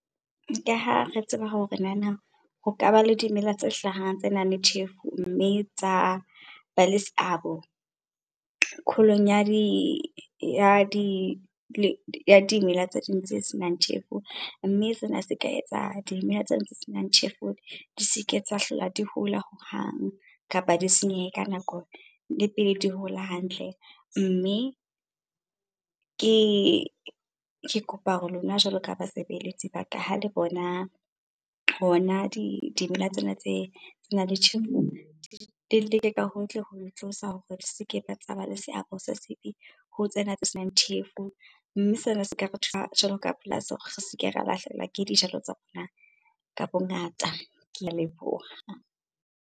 Ka ha re tseba hore ho ka ba le dimela tse hlahang tse nang le tjhefo mme tsa ba le seabo kholong ya dimela tse ding tse senang tjhefo. Mme sena se ka etsa dimela tse ding tse senang tjhefo di seke tsa hlola di hola hohang kapa di senyehe ka nako le pele di hola hantle. Mme, ke kopa hore lona jwalo ka basebeletsi ba ka ha le bona hona dimela tsena tse nang le tjhefo, le leke ka hohle ho di tlosa hore di seke tsa ba le seabo se sebe ho tsena tse senang tjhefo. Mme sena seka re thusa jwalo ka polasi hore re seke ra lahlehelwa ke dijalo tsa rona ka bongata. Ke a leboha.